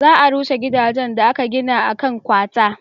za a rushe gidajen da aka gina a kan kwata